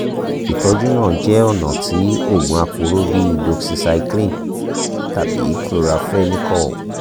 itọju naa jẹ ọna ti oogun aporo bi doxycycline tabi chloramphenicol